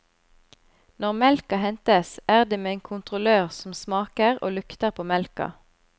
Når melka hentes, er det med en kontrollør som smaker og lukter på melka.